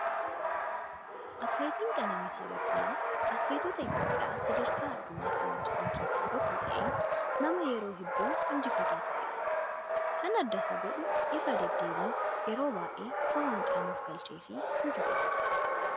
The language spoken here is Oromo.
Atileetiin Qananiisaa Baqqalaa atileetota Itoophiyaa sadarkaa addunyaatti waamsisan keessaa tokko ta'ee nama yeroo hedduu injifataa turedha. Kan adda Isa godhu irra deddeebiin yeroo baay'ee waancaa kan nuuf galchee fi injifatedha.